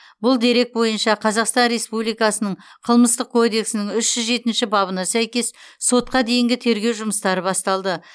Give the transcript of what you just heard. бұл дерек бойынша қазақстан республикасының қылмыстық кодексінің үш жүз жетінші бабына сәйкес сотқа дейінгі тергеу жұмыстары басталды